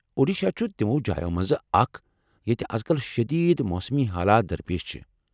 اوڈیشہ چھٗ تمو جایو منٛزٕ اکھ ییٚتہ از كل شدید موسمی حالات درپیش چھِ ۔